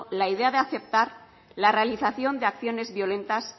la idea de aceptar la realización de acciones violentas